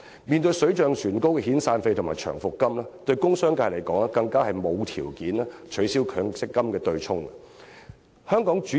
面對水漲船高的遣散費和長期服務金，工商界更是沒有條件取消強積金對沖機制。